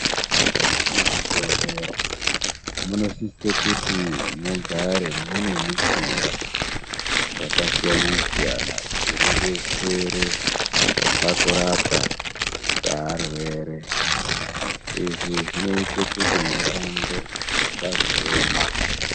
Muzvibhedhlera munosisa kuti mugare mune mishini yakasiyana-siyana inodetsere pakurapwa kwearwere. Izvi zvinoite kuti mushando usazoema.